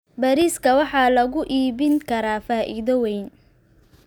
Bariiska waxaa lagu iibin karaa faa'iido weyn.